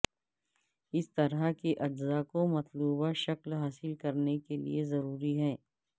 اس طرح کے اجزاء کو مطلوبہ شکل حاصل کرنے کے لئے ضروری ہیں